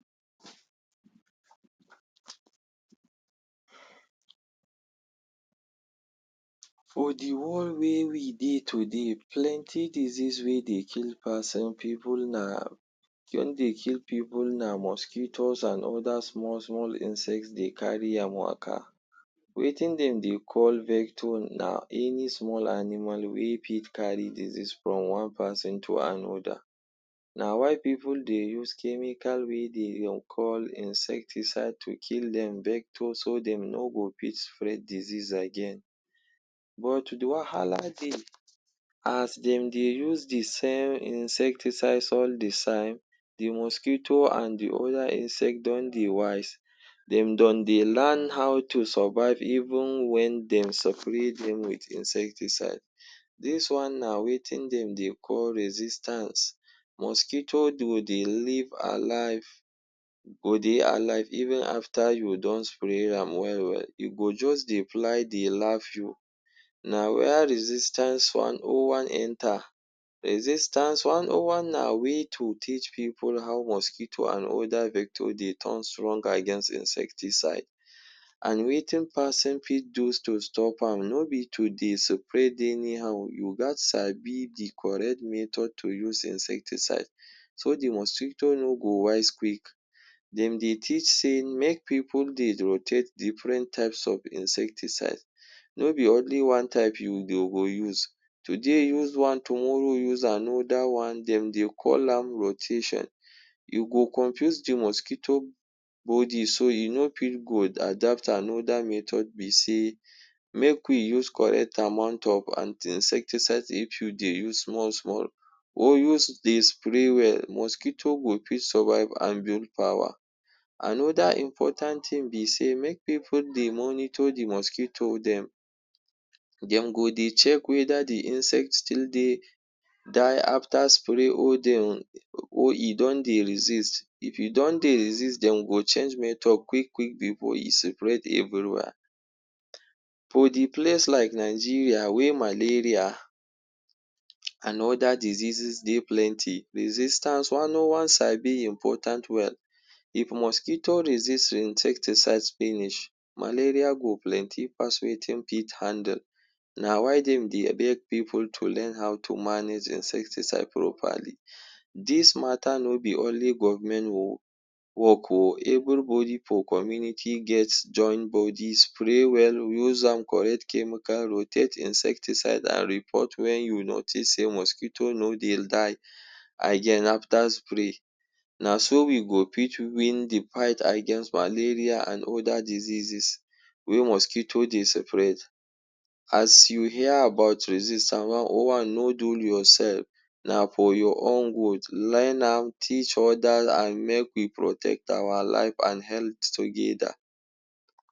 For the world wey we dey today, plenty disease wey dey kill pason, pipu na, wey dey kill pipu na mosquitoes an other small-small insect dey carry am waka. Wetin dem dey call vector na any small animal wey fit carry disease from one peson to another. Na why pipu dey use chemical wey de dey um call insecticides to kill dem vector so dem no go fit spread disease again. But the wahala dey. As dem dey use the same insecticides all the time, the mosquito an the other insect don dey wise. Dem don dey lan how to survive even wen dem spray dem with insecticide. Dis one na wetin dem dey call resistance. Mosquito go dey live alive, go dey alive even after you don spray am well-well. E go juz dey fly dey laugh you. Na where resistance one oh one enter. Resistance one oh one na way to teach pipu how mosquito an other vector dey turn strong against insecticide. An wetin pason fit do to stop am? No be to dey spread anyhow. You gaz sabi the correct method to use insecticide so the mosquito no go wise quick. Dem dey teach sey make pipu dey rotate different types of insecticide. No be only one type you dey go dey use. Today, use one; tomorrow, use another one. Dem dey call am rotation. You go confuse the mosquito body so e no fit go adapt. Another method be sey make we use correct amount of insecticide. If you dey use small-small, or use dey spray well, mosquito go fit survive power. Another important tin be sey make pipu dey monitor the mosquito dem. Dem go dey check whether the insect still dey die after spray or or e don dey resist. If e don dey resist, dem go change method quick-quick before e spread everywhere. For the place like Nigeria wey malaria an other diseases dey plenty, resistance one oh one sabi important well. If mosquito resist your insecticides finish, malaria go plenty pass wetin fit handle. Na why dem dey beg pipu to learn how to manage insecticide properly. Dis matter no be only government work oh, everybody for community get join body, spray well, use am correct chemical, rotate insecticide an report wen you notice sey mosquito no dey die again after spray. Na so we go fit win the fight against malaria an other diseases wey mosquito dey spread. As you hear about resistance one oh one, no dul yoursef. Na for your own good. Learn am, teach other, an make we protect our life an health together.